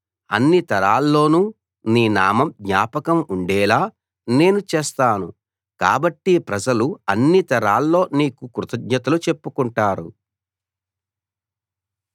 అన్ని తరాల్లోనూ నీ నామం జ్ఞాపకం ఉండేలా నేను చేస్తాను కాబట్టి ప్రజలు అన్ని తరాల్లో నీకు కృతజ్ఞతలు చెప్పుకుంటారు